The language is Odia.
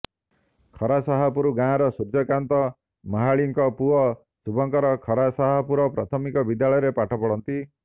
ଖରାସାହାପୁର ଗାଁର ସୂର୍ଯ୍ୟକାନ୍ତ ମହାଳିକଙ୍କ ପୁଅ ଶୁଭଙ୍କର ଖରାସାହାପୁର ପ୍ରାଥମିକ ବିଦ୍ୟାଳୟରେ ପାଠ ପଢ଼ନ୍ତି